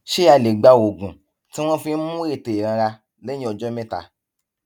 ṣé a lè gba oògùn tí wón fi ń mú ètè ìranra léyìn ọjó méta